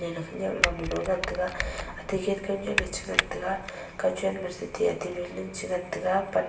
ama khawnek lo nu lo ngan te ga kachen ngan tega.